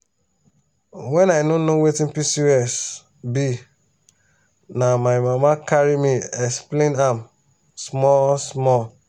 when i no know wetin pcos be na my mama carry me explain am small small.